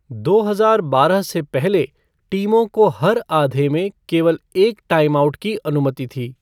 दो हजार बारह से पहले, टीमों को हर आधे में केवल एक टाइमआउट की अनुमति थी।